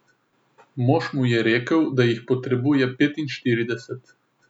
Mož mu je rekel, da jih potrebuje petinštirideset.